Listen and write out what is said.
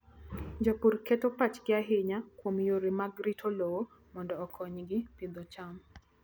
Jopur keto pachgi ahinya kuom yore mag rito lowo mondo okonygi pidho cham.